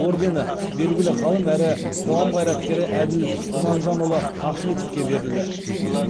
ордені белгілі ғалым әрі қоғам қайраткері әділ құрманжанұлы ахметовке берілді